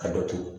Ka dɔ turu